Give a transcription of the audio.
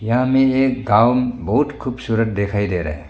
यहा मे एक गांव बहुत खूबसूरत दिखाई दे रहा--